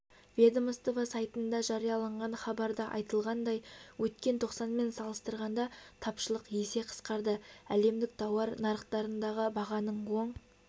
ведомство сайтында жарияланған хабарда айтылғандай өткен тоқсанмен салыстырғанда тапшылық есе қысқарды әлемдік тауар нарықтарындағы бағаның оң